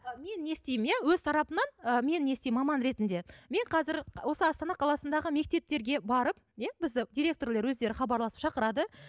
ы мен не істеймін иә өз тарапымнан ы мен не істеймін маман ретінде мен қазір осы астана қаласындағы мектептерге барып иә бізді директорлер өздері хабарласып шақырады